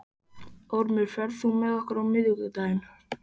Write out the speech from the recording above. Ormur, ferð þú með okkur á miðvikudaginn?